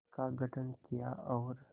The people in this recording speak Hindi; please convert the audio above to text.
का गठन किया और